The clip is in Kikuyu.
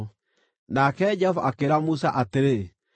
Nake Jehova akĩĩra Musa atĩrĩ,